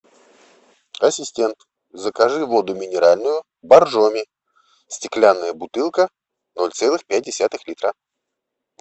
ассистент закажи воду минеральную боржоми стеклянная бутылка ноль целых пять десятых литра